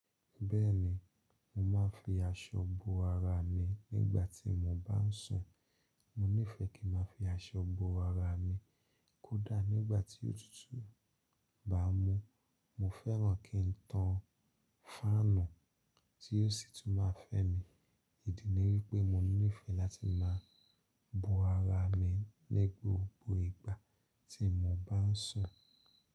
Bẹ́ẹ̀ni, mo máa ń fi aṣọ bo ara mi nígbà tí mo bá ń sùn. Mo nífẹ̀ẹ́ kí ń má fi aṣọ bo ara mi kódà nígbà tí òtútù bá mú. Mo fẹ́ràn kí ń tan fáànù tí yóò sì tún má fẹ́ mi. Ìdí ni wípé mo nífẹ̀ẹ́ láti má bo ara mi ní gbogbo ìgbà tí mo bá ń sùn.